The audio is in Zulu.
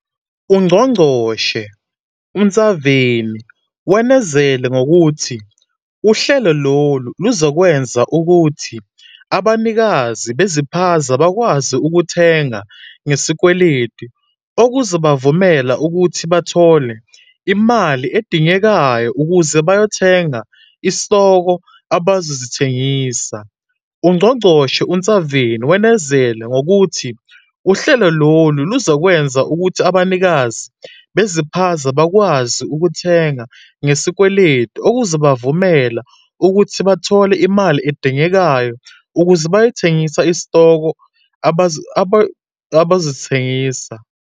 UNgqongqoshe uNtshavheni wenezele ngokuthi uhlelo lolu luzokwenza ukuthi abanikazi beziphaza bakwazi ukuthenga ngesikweletu, okuzobavumela ukuthi bathole imali edingekayo ukuze bayothenga isitoko abazosithengisa.